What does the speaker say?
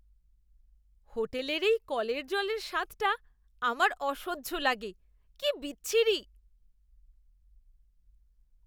হোটেলের এই কলের জলের স্বাদটা আমার অসহ্য লাগে, কি বিচ্ছিরি।